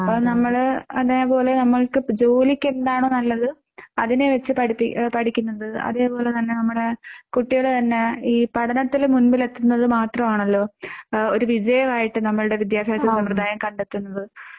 അപ്പം നമ്മൾ അതേ പോലെ നമ്മള്‍ക്ക് ജോലിക്ക് എന്താണ് നല്ലത് അതിനെ വച്ച് പഠിപ്പി പഠിക്കുന്നുണ്ട്. അതേ പോലെ നമ്മുടെ കുട്ടികൾ തന്നെ ഈ പഠനത്തിൽ മുമ്പിൽ എത്തുന്നത് മാത്രാണല്ലോ ഒരു വിജയമായിട്ട് നമ്മളുടെ വിദ്യാഭ്യാസ സമ്പ്റദായം കണ്ടെത്തുന്നത്.